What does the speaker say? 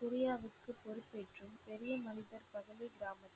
குரியாவிற்கு பொறுப்பேற்கும் பெரிய மனிதர் பதவி கிராம